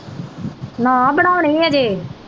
ਨਾ ਬਣਾਉਣੀ ਅਜੇ।